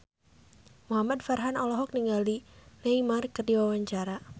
Muhamad Farhan olohok ningali Neymar keur diwawancara